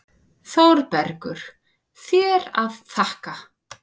ÞÓRBERGUR: Þér að þakka!